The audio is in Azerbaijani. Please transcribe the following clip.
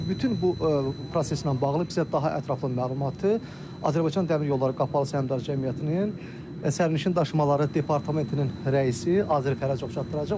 İndi bütün bu proseslə bağlı bizə daha ətraflı məlumatı Azərbaycan Dəmir Yolları Qapalı Səhmdar Cəmiyyətinin sərnişin daşımaları departamentinin rəisi Azər Fərəcov çatdıracaq.